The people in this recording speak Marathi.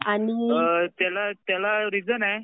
त्याला रिझन आहे